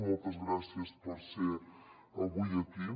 moltes gràcies per ser avui aquí